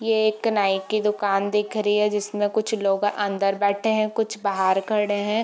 ये एक नाई की दुकान दिख रही है जिसमें कुछ लोग अंदर बैठे है कुछ बाहर खड़े है।